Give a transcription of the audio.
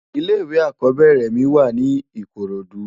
Ilè iwé ákòbèrè mi wá ni ikorodu